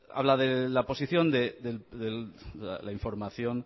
habla de la posición de la información